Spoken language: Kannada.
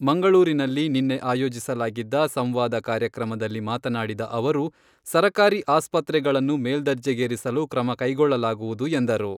ಮಂಗಳೂರಿನಲ್ಲಿ ನಿನ್ನೆ ಆಯೋಜಿಸಲಾಗಿದ್ದ ಸಂವಾದ ಕಾರ್ಯಕ್ರಮದಲ್ಲಿ ಮಾತನಾಡಿದ ಅವರು, ಸರಕಾರಿ ಆಸ್ಪತ್ರೆಗಳನ್ನು ಮೇಲ್ದರ್ಜೆಗೇರಿಸಲು ಕ್ರಮ ಕೈಗೊಳ್ಳಲಾಗುವುದು ಎಂದರು.